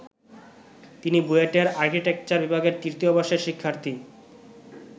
তিনি বুয়েটের আর্কিটেকচার বিভাগের তৃতীয় বর্ষের শিক্ষার্থী।